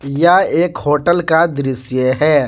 यह एक होटल का दृश्य है।